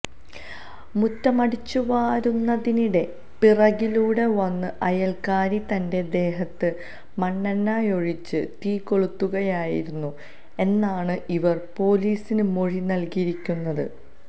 മുറ്റം അടിച്ചുവാരുന്നതിനിടെ പിറകിലൂടെ വന്ന് അയൽക്കാരി തന്റെ ദേഹത്ത് മണ്ണെണ്ണയൊഴിച്ച് തീകൊളുത്തുകയായിരുന്നു എന്നാണ് ഇവർ പൊലീസിന് മൊഴി നൽകിയിരിക്കുന്നത്